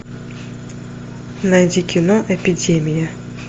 найди кино эпидемия